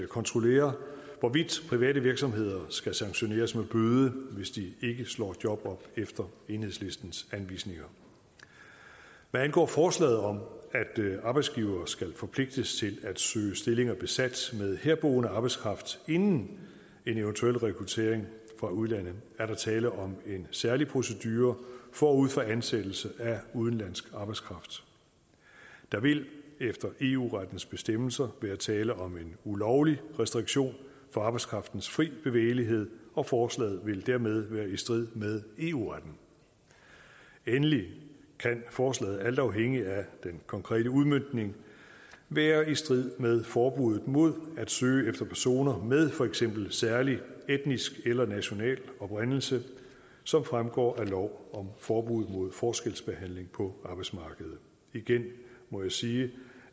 kontrollere hvorvidt private virksomheder skal sanktioneres med bøde hvis de ikke slår job op efter enhedslistens anvisninger hvad angår forslaget om at arbejdsgivere skal forpligtes til at søge stillinger besat med herboende arbejdskraft inden en eventuel rekruttering fra udlandet er der tale om en særlig procedure forud for ansættelse af udenlandsk arbejdskraft der vil efter eu rettens bestemmelser være tale om en ulovlig restriktion for arbejdskraftens fri bevægelighed og forslaget vil dermed være i strid med eu retten endelig kan forslaget alt afhængigt af den konkrete udmøntning være i strid med forbuddet mod at søge efter personer med for eksempel særlig etnisk eller national oprindelse som fremgår af lov om forbud mod forskelsbehandling på arbejdsmarkedet igen må jeg sige